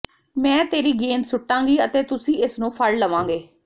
ਮੈਂ ਤੇਰੀ ਗੇਂਦ ਸੁੱਟਾਂਗੀ ਅਤੇ ਤੁਸੀਂ ਇਸ ਨੂੰ ਫੜ ਲਵਾਂਗੇ